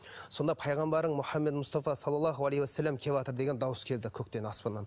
сонда пайғамбарым мұхаммед мұстафа салаллаху алейхи уассалам келіватыр деген дауыс келді көктен аспаннан